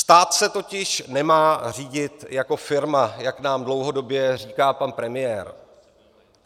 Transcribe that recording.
Stát se totiž nemá řídit jako firma, jak nám dlouhodobě říká pan premiér.